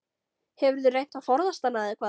Hefurðu reynt að forðast hana eða hvað?